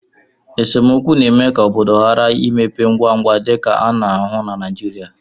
esemokwu na-eme ka obodo ghara ịmepe ngwa ngwa, dịka a na-ahụ na Naijirịa